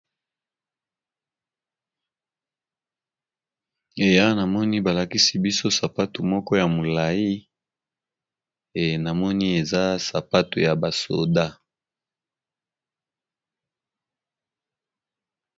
Eh awa namoni ba lakisi biso sapatu moko ya molayi, enamoni eza sapatu ya ba soda.